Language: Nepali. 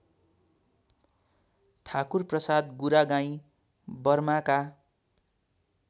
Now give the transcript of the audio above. ठाकुरप्रसाद गुरागाईँ बर्माका